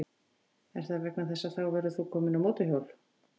Er það vegna þess að þá verður þú kominn á mótorhjól?